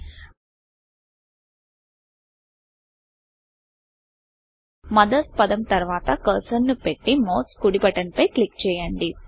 mothers పదం తర్వాత cursor ను పెట్టి మౌస్ కుడి బటన్ పై క్లిక్ చేయoడి